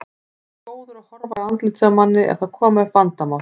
Ertu góður að horfa í andlitið á manni ef það koma upp vandamál?